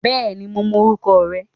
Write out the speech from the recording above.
Bẹ́ẹ̀ni, mo mọ orúkọ rẹ̀